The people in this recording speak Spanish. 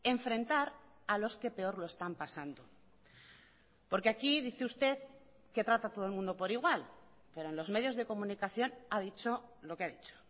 enfrentar a los que peor lo están pasando porque aquí dice usted que trata a todo el mundo por igual pero en los medios de comunicación ha dicho lo que ha dicho